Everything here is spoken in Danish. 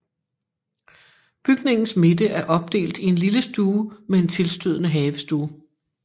Bygningens midte er opdelt i en lille stue med en tilstødende havestue